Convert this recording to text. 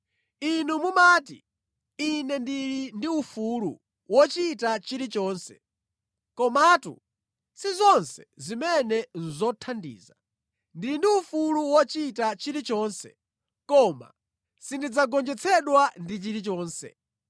Inu mumati, “Ine ndili ndi ufulu wochita chilichonse.” Komatu si zonse zimene nʼzothandiza. “Ndili ndi ufulu wochita chilichonse.” Koma sindidzagonjetsedwa ndi chilichonse.